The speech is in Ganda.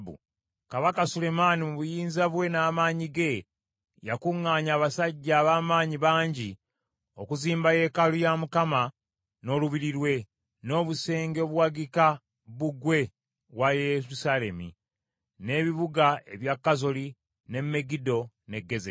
Kabaka Sulemaani mu buyinza bwe n’amaanyi ge, yakuŋŋaanya abasajja ab’amaanyi bangi okuzimba yeekaalu ya Mukama , n’olubiri lwe, n’obusenge obuwagika bbugwe wa Yerusaalemi, n’ebibuga ebya Kazoli, ne Megiddo ne Gezeri.